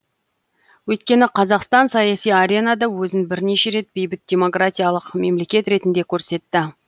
өйткені қазақстан саяси аренада өзін бірнеше рет бейбіт демократиялық мемлекет ретінде көрсетті